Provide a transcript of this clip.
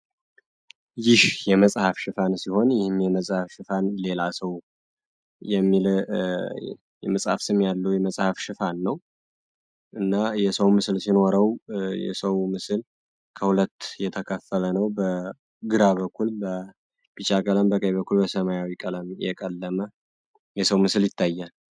ይህ የመጽሐፍ ሽፋን ሲሆን ይህም የመጻሐፍ ሽፋን ሌላ ሰው የሚል ስም ያለ የመጽሐፍ ሽፋን ነው እና የሰው ምስል ሲኖረው የሰው ምስል ከሁለት የተከፈለ ነው በግራ በኩል በቢጫ ቀለም በቀኝ በኩል በሰማያዊ ቀለም የቀለመ የሰው ምስል ይታያል።